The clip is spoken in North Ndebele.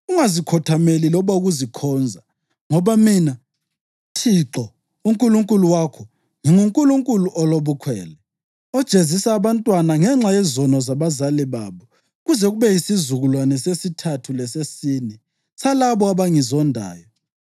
Ungazikhothameli loba ukuzikhonza; ngoba Mina, Thixo uNkulunkulu wakho, nginguNkulunkulu olobukhwele, ojezisa abantwana ngenxa yezono zabazali babo kuze kube yisizukulwane sesithathu lesesine salabo abangizondayo,